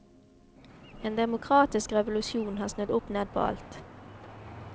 En demokratisk revolusjon har snudd opp ned på alt.